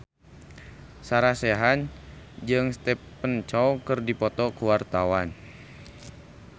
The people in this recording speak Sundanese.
Sarah Sechan jeung Stephen Chow keur dipoto ku wartawan